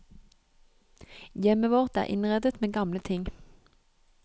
Hjemmet vårt er innredet med gamle ting.